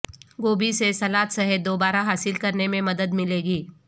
گوبھی سے سلاد صحت دوبارہ حاصل کرنے میں مدد ملے گی